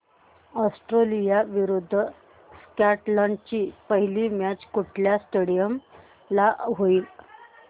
Australia विरुद्ध Scotland ची पहिली मॅच कुठल्या स्टेडीयम ला होईल